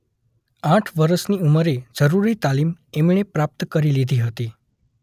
આઠ વરસની ઉમરે જરૂરી તાલીમ એમણે પ્રાપ્ત કરી લીધી હતી.